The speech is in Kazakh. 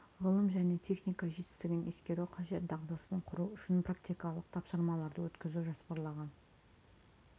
ғылым және техника жетістігін ескеру қажет дағдысын құру үшін практикалық тапсырмаларды өткізу жоспарланған